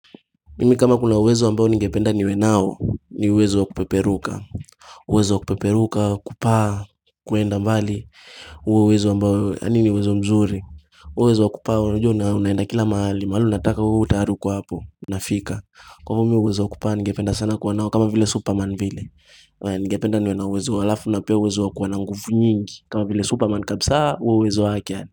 Mimi kama kuna uwezo ambao ngependa niwe nao ni uwezo wa kupeperuka uwezo wa kupeperuka kupaa kwenda mbali huo uwezo ambao yaani ni uwezo mzuri uwezo wa kupaa unajua unaenda kila mahali mahali unataka uwe tayari uko hapo unafika. Kwa hivo mimi uwezo wa kupaa ngependa sana kuwa nao kama vile superman vile. Ningependa niwe na uwezo alafu na pia uwezo wa kuwa na nguvu nyingi kama vile superman kabisaa huo uwezo wake.